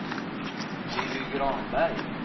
Lilly Granberg